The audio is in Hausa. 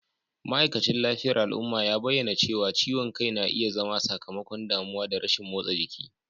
ma'aikacin lafiyar al'umma ya bayyana cewa ciwon kai na iya zama sakamakon damuwa da rashin motsa jiki